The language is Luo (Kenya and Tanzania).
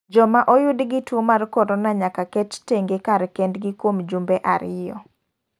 Joma oyud gi tuo mar korona nyaka ket tenge kar kendgi kuom jumbe ariyo.